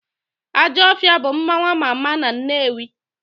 Ajọfịa bụ mmanwụ ama ama na Nnewi.